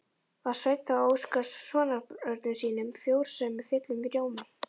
Var Sveinn þá að óska sonarbörnum sínum frjósemi fullum rómi.